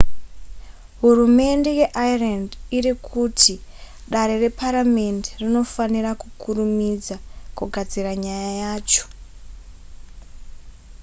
hurumende yeireland iri kuti dare reparamende rinofanira kukurumidza kugadzirisa nyaya yacho